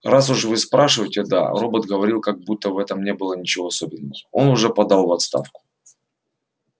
раз уж вы спрашиваете да робот говорил как будто в этом не было ничего особенного он уже подал в отставку